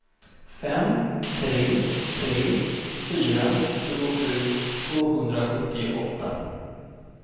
fem tre tre fyra tjugosju tvåhundrasjuttioåtta